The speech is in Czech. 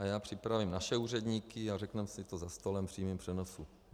A já připravím naše úředníky, a řekneme si to za stolem v přímém přenosu.